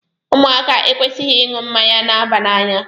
Ụmụaka ekwesịghị ịṅụ mmanya na-aba n'anya.